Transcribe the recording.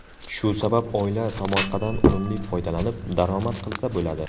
Shu sabab oila tomorqadan unumli foydalanib, daromad qilsa bo‘ladi.